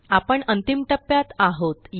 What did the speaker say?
आपण अंतिम टप्प्यात आहोत